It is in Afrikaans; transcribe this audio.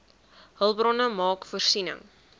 hulpbronne maak voorsiening